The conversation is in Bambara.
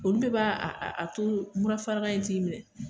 Olu de b'a a to mura farigan in t'i minɛ